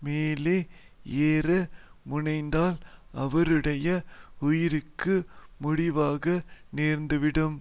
மேலே ஏற முனைந்தால் அவருடைய உயிர்க்கு முடிவாக நேர்ந்துவிடும்